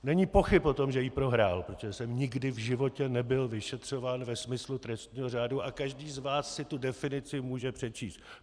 Není pochyb o tom, že ji prohrál, protože jsem nikdy v životě nebyl vyšetřován ve smyslu trestního řádu a každý z vás si tu definici může přečíst.